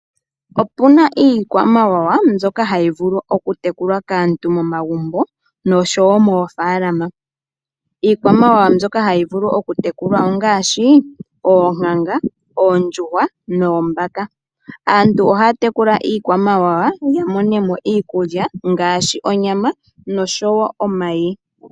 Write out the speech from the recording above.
Opuna iikwamawawa mbyoka hayi vulu ojutekulwa kaantu momagumbo noshowo moofalama. Iikwamawawa mbyoka hayi vulu okutekulwa ongaashi oonkanga, oondjuhwa noombaka. Aantu ohaya iikwamawawa ya mone mo iikulya ngaashi onyama, oshowo omayi.